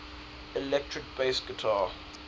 electric bass guitar